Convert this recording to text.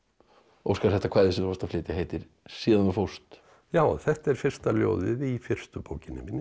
Óskar þetta kvæði sem þú varst að flytja heitir síðan þú fórst já þetta er fyrsta ljóðið í fyrstu bókinni minni